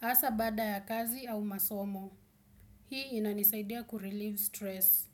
asa bada ya kazi au masomo. Hii inanisaidia kureleave stress.